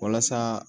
Walasa